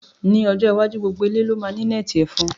Ni, ọjọ́ iwájú, gbogbo ilé ló máa ní nẹ́ẹ̀tì ẹ̀fọn